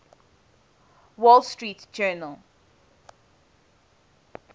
wall street journal